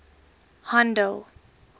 handel